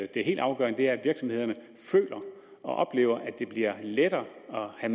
det helt afgørende er at virksomhederne føler og oplever at det bliver lettere at